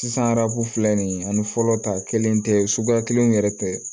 Sisan arabu filɛ nin ani fɔlɔ ta kelen tɛ suguya kelenw yɛrɛ tɛ